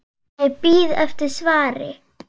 Ég bíð eftir svari.